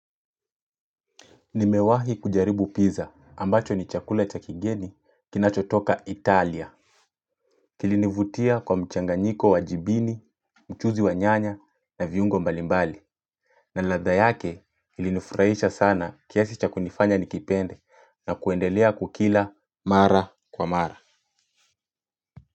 Nimewahi kujaribu pizza ambacho ni chakula cha kigeni kinacho toka italia. Kilinivutia kwa mchanganiko wa jibini, mchuzi wa nyanya na viungo mbalimbali. Na ladha yake ilinufurahisha sana kiasi cha kunifanya nikipende na kuendelea kukila mara kwa mara.